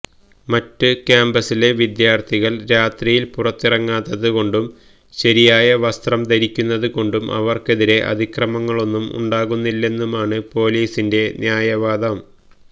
മറ്റ് ക്യാമ്പസിലെ വിദ്യാർത്ഥികൾ രാത്രിയിൽപുറത്തിറങ്ങാത്തത് കൊണ്ടും ശരിയായ വസ്ത്രം ധരിക്കുന്നത് കൊണ്ടും അവർക്കെതിരെ അതിക്രമങ്ങളൊന്നും ഉണ്ടാകുന്നില്ലെന്നുമാണ് പൊലീസിന്റെ ന്യായവാദം